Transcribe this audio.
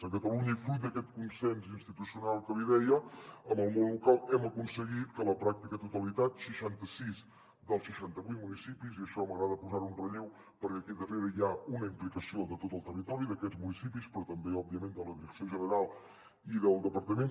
a catalunya i fruit d’aquest consens institucional que li deia amb el món local hem aconseguit que la pràctica totalitat seixanta sis dels seixanta vuit municipis i això m’agrada posar ho en relleu perquè aquí darrere hi ha una implicació de tot el territori d’aquests municipis però també òbviament de la direcció general i del departament